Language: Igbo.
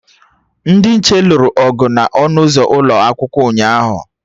Ndị nche lụrụ ọgụ na ọnụ ụzọ ụlọakwụkwọ ụnyaahụ